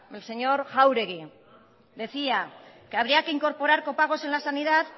el señor jauregi decía que habría que incorporar copagos en la sanidad